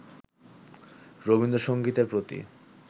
রবীন্দ্রসংগীতের প্রতি